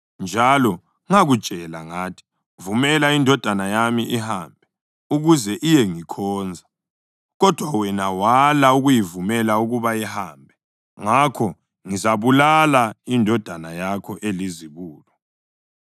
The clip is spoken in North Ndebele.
njalo ngakutshela ngathi, “Vumela indodana yami ihambe, ukuze iyengikhonza.” Kodwa wena wala ukuyivumela ukuba ihambe; ngakho ngizabulala indodana yakho elizibulo.’ ”